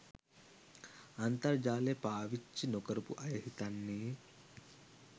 අන්තර්ජාලය පාවිච්චි නොකරපු අය හිතන්නෙ